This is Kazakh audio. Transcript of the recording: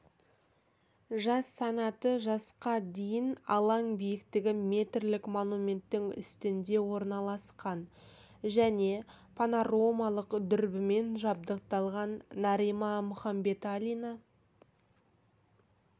жас санаты жасқа дейін алаң биіктігі метрлік монументтің үстінде орналасқан және панорамалық дүрбімен жабдықталған нарима мұхамбеталина